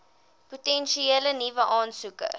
potensiële nuwe aansoekers